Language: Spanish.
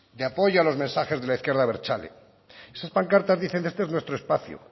de apoyo a los mensajes de la izquierda abertzale esas pancartas dicen este es nuestro espacio